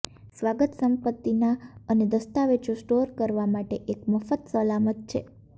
સ્વાગત સંપત્તિના અને દસ્તાવેજો સ્ટોર કરવા માટે એક મફત સલામત છે